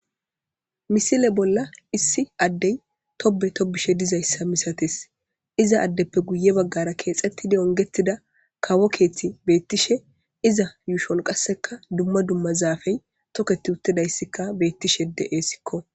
misile bolla issi addey tobe tobishe dizayssa misates iza addeppe guye baggara keexettidi ongetida kawo keeththi beettishe iza yuushon qasseka dumma dumma zaafey toketi uttidayssikka beettishe de7essikko